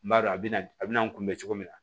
N b'a dɔn a bɛna a bɛna n kunbɛ cogo min na